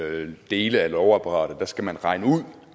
alle dele af lovapparatet skal regne